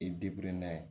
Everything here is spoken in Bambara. I n'a ye